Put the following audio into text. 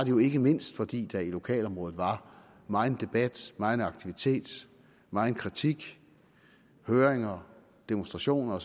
jo ikke mindst fordi der i lokalområdet var megen debat megen aktivitet megen kritik høringer demonstrationer